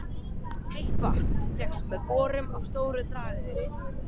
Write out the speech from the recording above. Heitt vatn fékkst með borun á Stóru-Drageyri í